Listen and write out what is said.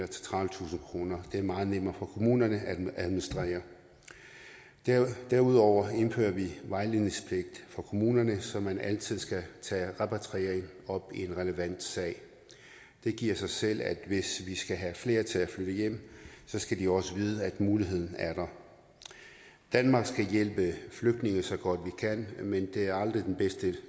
til tredivetusind kroner det er meget nemmere for kommunerne at administrere derudover indfører vi en vejledningspligt for kommunerne så man altid skal tage repatriering op i en relevant sag det giver sig selv at hvis vi skal have flere til at flytte hjem skal de også vide at muligheden er der danmark skal hjælpe flygtninge så godt vi kan men det er aldrig den bedste